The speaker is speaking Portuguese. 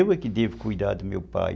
Eu é que devo cuidar do meu pai.